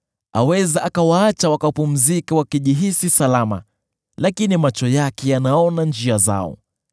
Aweza akawaacha wakapumzika wakijihisi salama, lakini macho yake yanaona njia zao.